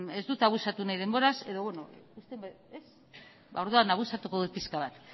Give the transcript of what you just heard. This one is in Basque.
ez dut abusatu nahi denboraz abusatuko dut pixka bat